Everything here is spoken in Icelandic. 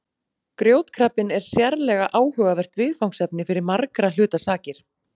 Grjótkrabbinn er sérlega áhugavert viðfangsefni fyrir margra hluta sakir.